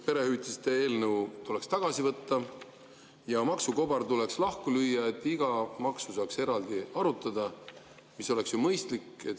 Perehüvitiste eelnõu tuleks tagasi võtta ja maksukobar tuleks lahku lüüa, et iga maksu saaks eraldi arutada, mis oleks ju mõistlik.